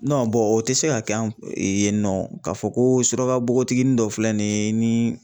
o tɛ se ka kɛ an yen nɔ, k'a fɔ ko suraka bogotiginin dɔ filɛ nin ye ni